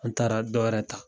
An taara dɔ wɛrɛ ta